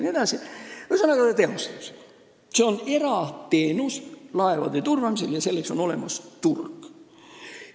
Laevade turvamine on erateenus ja sellele on olemas turg.